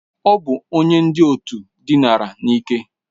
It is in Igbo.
Ọ bụ onye ndị òtù dinara n'ike.